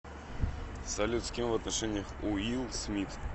салют с кем в отношениях уилл смит